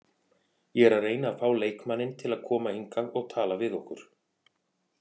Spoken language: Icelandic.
Ég er að reyna að fá leikmanninn til að koma hingað og tala við okkur.